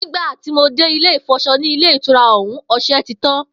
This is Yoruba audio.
Nígbà tí mo dé ilé ìfò̩s̩o̩ ní ilé ìtura ò̩ún, o̩s̩e̩ ti tán